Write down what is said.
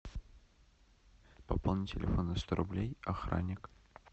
пополнить телефон на сто рублей охранник